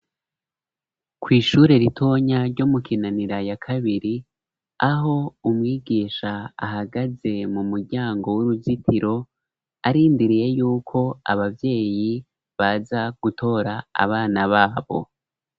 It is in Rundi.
Kw'ishure ritoya ryo mu kinanira ya kabiri aho umwigisha ahagaze mu muryango w'uruzitiro arindiriye yuko abavyeyi baza gutora abana babo.